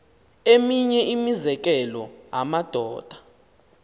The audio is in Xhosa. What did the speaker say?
eminye imizekelo amadoda